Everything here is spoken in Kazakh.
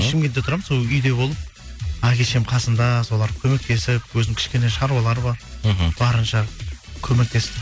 шымкентте тұрамын сол үйде болып әке шешемнің қасында соларға көмектесіп өзім кішкене шаруалар бар мхм барынша көмектестім